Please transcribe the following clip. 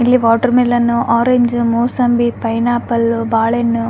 ಇಲ್ಲಿ ವಾಟರ್ಮೆಲನ್ವು ಆರೆಂಜ್ ಮೂಸಂಬಿ ಪೈನಾಪಲ್ವು ಬಾಳೆನ್ನು --